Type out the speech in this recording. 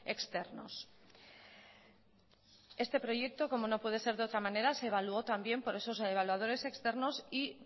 externos este proyecto como no puede ser de otra manera se evaluó también por esos evaluadores externos y